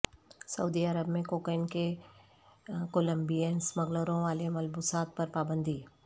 سعودی عرب میں کوکین کے کولمبیئن سمگلروں والے ملبوسات پر پابندی